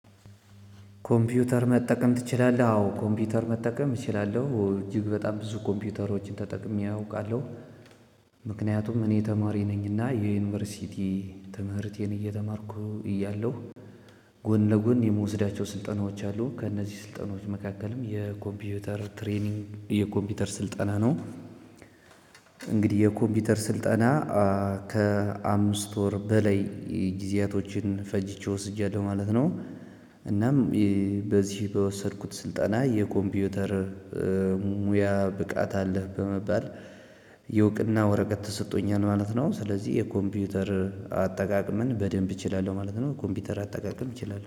ኮምፒውተር መጠቀም ትችላለህ? አዎ ኮምፒውተር መጠቀም እችላለሁ እጅግ በጣም ብዙ ኮምፒውተሮችን ተጠቅሜ አውቃለሁ። ምክንያቱም እኔ ተማሪ ነኝና የዩኒቨርሲቲ ትምህርቴን እየተማርኩ እያለሁ ጎን ለጎን የምወስዳቸው ስልጠናዎች አሉ። ከእነዚህ ስልጠናዎች መካከልም የኮምፒውተር ትሬኒንግ የኮምፒውተር ስልጠና ነው። እንግዲህ የኮምፒውተር ስልጠና ከአምስት ወር በላይ ጊዜያቶችን ፈጅቼ ወስጃለሁ ማለት ነው። እናም በዚህ በወሰድኩት ስልጠና የኮምፒውተር ሙያ ብቃት አለህ በመባል የእውቅና ወረቀት ተሰጦኛል ማለት ነው። ስለዚህ የኮምፒውተር አጠቃቅምን በደንብ እችላለሁ ማለት ነው። ኮምፒውተር አጠቃቀም እችላለሁ